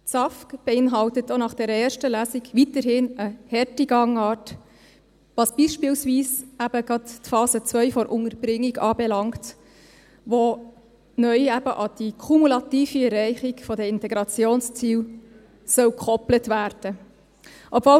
Das SAFG beinhaltet auch nach der ersten Lesung weiterhin eine harte Gangart, was beispielsweise gerade die Phase 2 der Unterbringung anbelangt, die neu eben an die kumulative Erreichung der Integrationsziele gekoppelt werden soll.